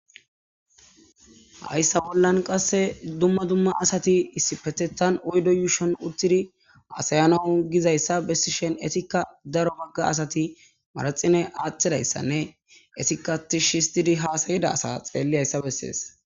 Hayssa bollan qasse dumma dumma asati issi petetan oydo yuushon uttidi aasayanao gizayssa bessi shen etikka daro bagga asati maraxine aaththidayssanne etikka tish histidi haasayida asa xeelli ayssa bessees